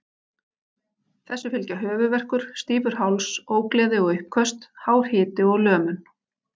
Þessu fylgja höfuðverkur, stífur háls, ógleði og uppköst, hár hiti og lömun.